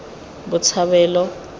botshabelo